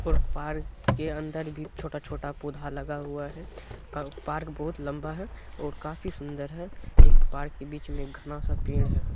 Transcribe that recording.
और पार्क के अंदर भी छोटा-छोटा पौधा लगा हुआ है पार्क बहुत लंबा है और काफी सुंदर है एक पार्क के बीच में घना-सा पेड़ है।